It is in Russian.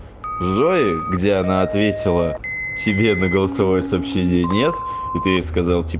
зои где она ответила тебе на голосовое сообщение нет и ты ей сказал тип